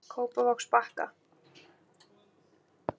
Kópavogsbakka